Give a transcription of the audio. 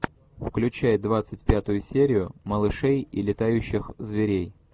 включай двадцать пятую серию малышей и летающих зверей